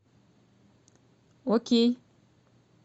окей